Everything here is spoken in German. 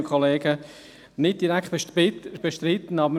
Danke, dass wir sprechen dürfen!